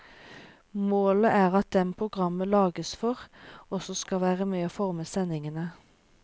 Målet er at dem programmet lages for, også skal være med å forme sendingene.